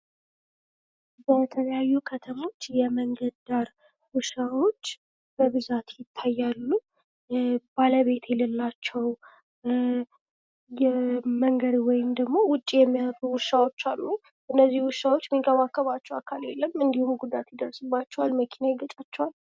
በተለያዩ ከተሞች የመንገድ ዳር ውሻዎች በብዛት ይታያሉ፥ ባለቤት የሌላቸው ወይም ደሞ ውጪ የሚያድሩ፥ መንገድ የሚያድሩ ውሻዎች አሉ እነዚ ውሻዎች የሚንከባከባቸው አካል የለም መኪና ይገጫቸዋል፥ ጉዳት ይደርስባቸዋል።